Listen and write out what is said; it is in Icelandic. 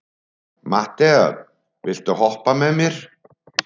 Matthea, viltu hoppa með mér?